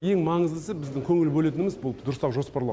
ең маңыздысы біздің көңіл бөлетініміз бұл дұрыстап жоспарлау